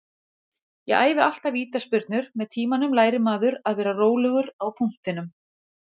Ég æfi alltaf vítaspyrnur, með tímanum lærir maður að vera rólegur á punktinum.